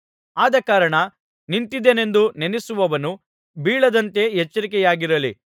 ಆದಕಾರಣ ನಿಂತಿದ್ದೇನೆಂದು ನೆನಸುವವನು ಬೀಳದಂತೆ ಎಚ್ಚರಿಕೆಯಾಗಿರಲಿ